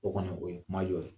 O kɔni o ye kuma jɔ ye